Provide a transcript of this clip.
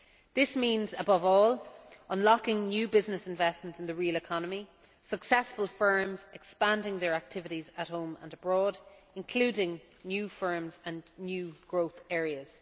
This means, above all, unlocking new business investments in the real economy successful firms expanding their activities at home and abroad, including new firms and new growth areas.